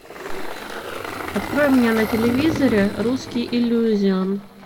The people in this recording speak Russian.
открой мне на телевизоре русский иллюзион